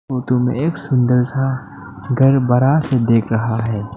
इस फोटो में एक सुंदर सा घर बड़ा से देख रहा है।